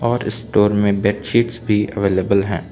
और स्टोर में बेडशीट्स भी अवेलेबल है।